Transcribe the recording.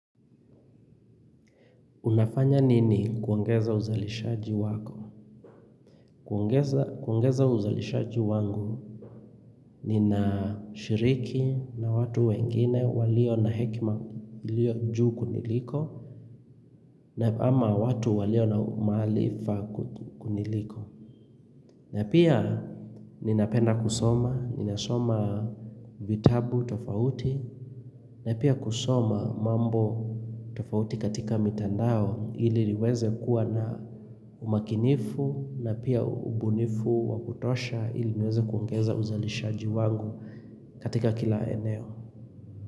Unafanya nini kuongeza uzalishaji wako? Kuongeza uzalishaji wangu ninashiriki na watu wengine walio na hekima ilio juu kuniliko na ama watu walio na umalifa kuniliko na pia ninapenda kusoma, ninasoma vitabu tofauti na pia kusoma mambo tofauti katika mitandao ili niweze kuwa na umakinifu na pia ubunifu wakutosha ili niweze kuongeza uzalishaji wangu katika kila eneo.